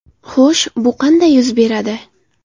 Xo‘sh, bu qanday yuz beradi?